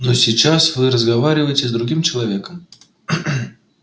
но сейчас вы разговариваете с другим человеком